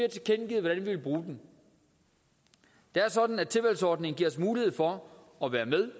vil bruge den det er sådan at tilvalgsordningen giver os mulighed for at være med